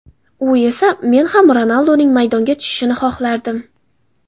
U esa: Men ham Ronalduning maydonga tushishini xohlardim.